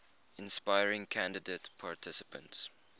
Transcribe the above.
inspiring candidate participants